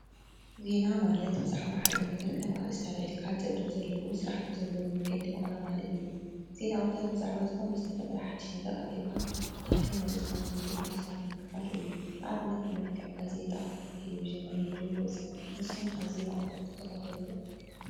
ዜና ማለት ብዛዕባ ሓደ ነገር ከም ኣርእስቲ ኣልዕልካ ፀጥ ዝበለ ስርዓት ብዘለዎ መንገዲ ምቕራብ ማለት እዩ። ዜና ኣውታር ብዛዕባ ዝተፈጠረ ሓዱሽ ነገር ትክክለኛ ብዝኮነ መንገዲ ናብ ሰባት ምቅራብ እዩ ። ንኣብነት ብመልክዕ ጋዜጣ፣ ሬድዮ፣ ቴሌቭዥን ንስካትኩም ከ እንታይ ዓይነት ዜና ትካታተሉ?